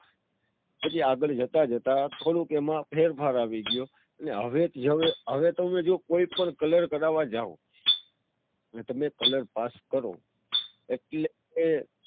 પછી આગળ જતા જતા થોડો ક એમાં ફેરફાર આવી ગયો. હવે તમે જો કોઈ પણ colour કરવા જાઓ. અને તમે colour પાસ કરો. એટલે